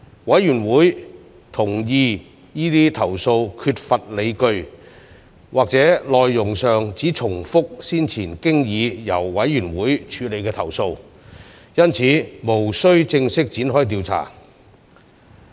委員會同意這些投訴缺乏理據，或內容上只重複先前經已由委員會處理的投訴，因此無須正式展開調查。